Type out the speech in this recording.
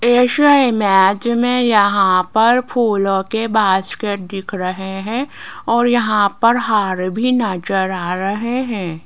ऐसे इमेज में यहां पर फूलों के बास्केट दिख रहे हैं और यहां पर हार भी नजर आ रहे हैं।